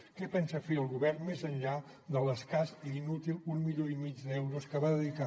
què pensa fer el govern més enllà de l’escàs i inútil milió i mig d’euros que va dedicar